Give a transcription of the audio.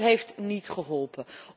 Maar het heeft niet geholpen.